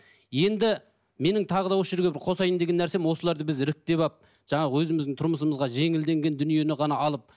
енді менің тағы да осы жерге бір қосайын деген нәрсем осыларды біз іріктеп алып жаңағы өзіміздің тұрмысымызға жеңілденген дүниені ғана алып